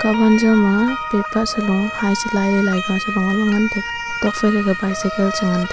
kahwan jaw ma paper salo hy selailey laiga chrelo ngan taiga tokphai rega bicycle chengan taiga.